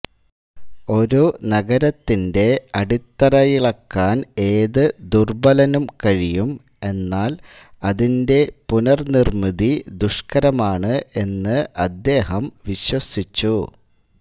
ഒരു നഗരത്തിന്റെ അടിത്തറയിളക്കുവാൻ ഏതു ദുർബ്ബലനും കഴിയും എന്നാൽ അതിന്റെ പുനർനിർമ്മിതി ദുഷ്കരമാണ് എന്ന് അദ്ദേഹം വിശ്വസിച്ചു